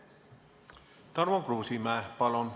Tarmo Kruusimäe, palun!